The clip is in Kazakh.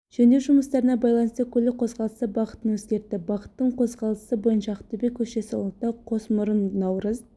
жөндеу жұмыстарына байланысты көлік қозғалысы бағытын өзгертті бағыттың қозғалысы бойынша ақтөбе көшесі ұлытау қосмұрын наурыз